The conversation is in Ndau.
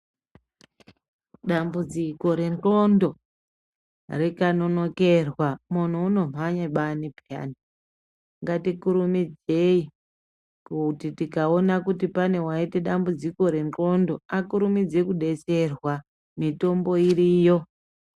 Dambudziko rendxondo rikanonokerwa munhu unomhanye bani peyani ngatikurumidzei kuti tikaona kuti pane waita dambudziko rendxondo akurumidze kudetserwa mitombo iriyo.